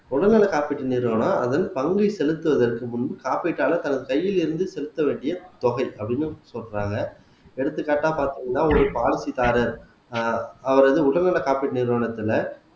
உடல்நலக் காப்பீட்டு நிறுவனம் அதன் பங்கை செலுத்துவதற்கு முன் காப்பீட்டாளர் தன் கையில் இருந்து செலுத்த வேண்டிய தொகை அப்படீன்னு சொல்றாங்க எடுத்துக்காட்டா பாத்தீங்கன்னா ஒரு பாலிசிகாரர் அஹ் அவர் வந்து உடல் நல காப்பீட்டு நிறுவனத்தில